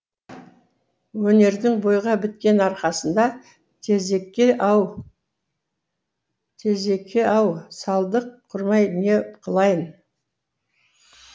өнердің бойға біткен арқасында тезеке ау салдық құрмай не қылайын